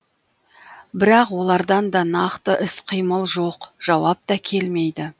бірақ олардан да нақты іс қимыл жоқ жауап та келмейді